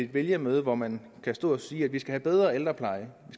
vælgermøde hvor man kan stå og sige at vi skal have en bedre ældrepleje